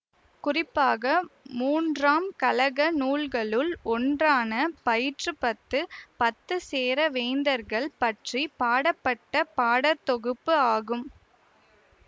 குறிப்பாக மூன்றாம் கழக நூல்களுள் ஒன்றான பதிற்றுப்பத்து பத்து சேர வேந்தர்கள் பற்றி பாடப்பட்ட பாடற் தொகுப்பு ஆகும்